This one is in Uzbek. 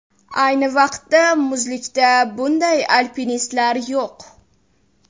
Ayni vaqtda muzlikda bunday alpinistlar yo‘q.